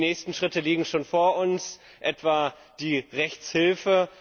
Die nächsten Schritte liegen schon vor uns, etwa die Rechtshilfe.